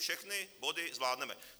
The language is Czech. Všechny body zvládneme.